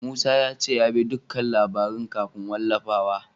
Musa ya ce ya bi dukkan labaran kafin wallafawa.